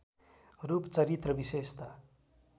रूप चरित्र विशेषता